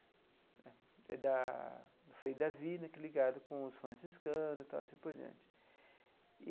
É da Frei David né, ligado com os franciscanos e tal assim por diante.